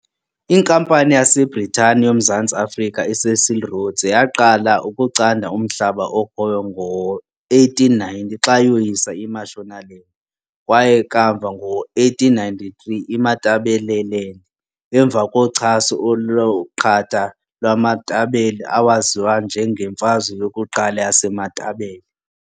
Inkampani yaseBritane yoMzantsi Afrika iCecil Rhodes yaqala ukucanda umhlaba okhoyo ngo-1890 xa yoyisa iMashonaland kwaye kamva ngo-1893 iMatabeleland emva kochaso oluqatha lwamaMatabele awaziwa njengeMfazwe yokuQala yaseMatabele.